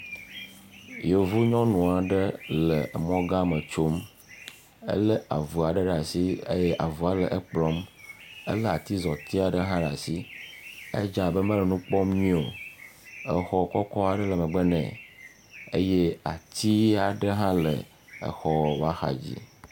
Yevu nyɔnu aɖe le emɔgã me tsom. Elé avu aɖe ɖe asi eye avua le ekplɔm. Elé atizɔti aɖe ɖe asi. Edze abe mele nu kpɔm nyuie o. Exɔ kɔkɔ aɖe le megbe nɛ. Eye ati aɖe hã le exɔ ƒe ahadzi.